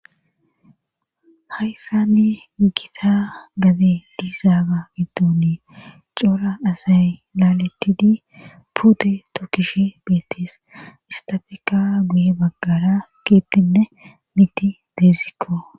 Hayssani gita gaze diizaaga giddonii coora asay laaletidi puute tokkish beettis istafeka guye baggara kiittinne miti deezikko